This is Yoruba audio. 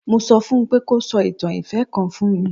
Mo sọ fún un pé kó sọ ìtàn ìfẹ́ kan fún mi.